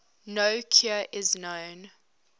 no cure is known